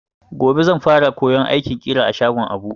Gobe zan fara koyon aikin ƙira a shagon Abu.